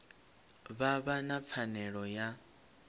vha vha na pfanelo ya